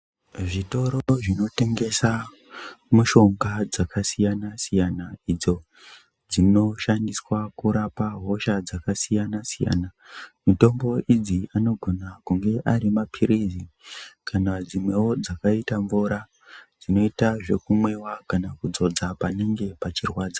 Zvitoro zvinotengesa mushonga yakasiyana siyana idzo dzinoshandiswa kurapa hosha dzakasiyana siyana mitombo idzi anogona kunge ari mapirizi kana dzimweyo dzakaita mvura kana kudzodza panenge pachirwadza.